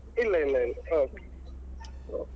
ಇಲ್ಲ ಇಲ್ಲ ಇಲ್ಲ okay okay .